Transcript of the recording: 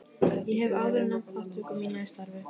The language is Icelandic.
Ég hef áður nefnt þátttöku mína í starfi